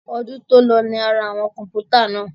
Ọdún tòlọ la ra àwọn kọ̀npútà náà.